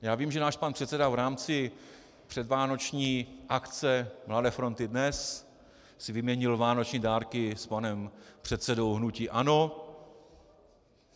Já vím, že náš pan předseda v rámci předvánoční akce Mladé fronty DNES si vyměnil vánoční dárky s panem předsedou hnutí ANO.